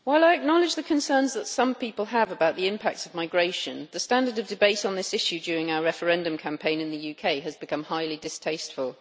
Madam President, while I acknowledge the concerns that some people have about the impact of migration, the standard of debate on this issue during our referendum campaign in the UK has become highly distasteful.